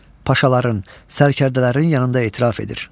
Paşaların, sərkərdələrin yanında etiraf edir.